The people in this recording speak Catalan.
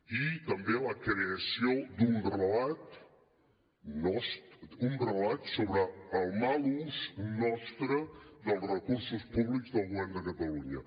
i també la creació d’un relat sobre el mal ús nostre dels recursos públics del govern de catalunya